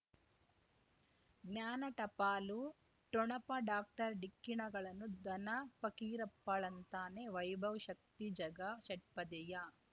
ಜ್ಞಾನ ಟಪಾಲು ಠೊಣಪ ಡಾಕ್ಟರ್ ಢಿಕ್ಕಿ ಣಗಳನು ಧನ ಫಕೀರಪ್ಪ ಳಂತಾನೆ ವೈಭವ್ ಶಕ್ತಿ ಝಗಾ ಷಟ್ಪದಿಯ